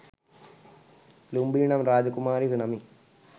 ලුම්බිණි නම් රාජකුමාරියක නමින්